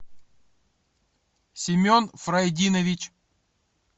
семен фрайдинович